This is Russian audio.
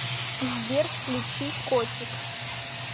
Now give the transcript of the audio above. сбер включи котик